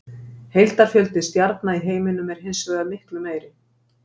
Heildarfjöldi stjarna í heiminum er hins vegar miklu meiri.